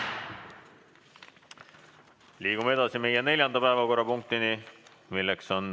Liigume edasi neljanda päevakorrapunkti juurde.